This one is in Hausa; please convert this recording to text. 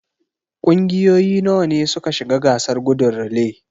Kungiyoyi nawa ne suka shiga gasar gudun relay?